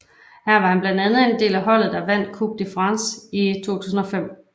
Her var han blandt andet en del af holdet der vandt Coupe de France i 2005